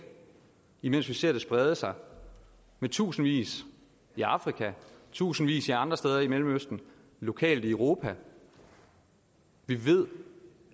imens vi ser det sprede sig med tusindvis i afrika tusindvis andre steder i mellemøsten lokalt i europa vi ved